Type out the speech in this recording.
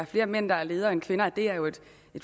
flere mænd der er ledere end kvinder det er jo